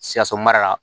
Sikaso mara la